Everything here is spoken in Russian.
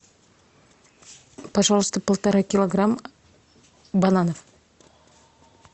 пожалуйста полтора килограмма бананов